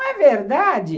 Não é verdade?